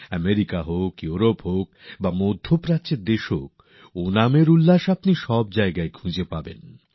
America হোক Europe হোক বা উপসাগরীয় দেশ সর্বত্র সোল্লাসে ওণাম উদযাপনের ছবি আপনি পেয়ে যাবেন